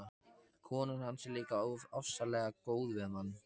Konan hans er líka ofsalega góð við mann.